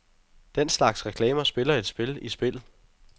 Den slags reklamer spiller et spil i spillet.